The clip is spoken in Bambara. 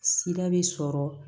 Sira bɛ sɔrɔ